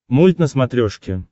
мульт на смотрешке